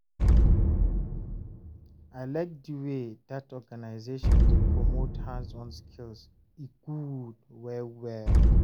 I like di wey that organization dey promote hands-on skills, e good well well